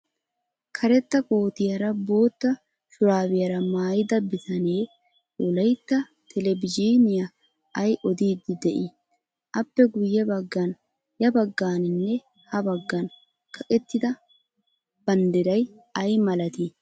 Karetta kootiyaara boota shuraabiyaara maayida bitane wolayitta telbejiiniyan ay odiddi de''ii? Appe guyye baggan ya baggaaninne ha baggan kaqettida baddiray ay maalaati?